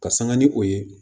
Ka sanga ni o ye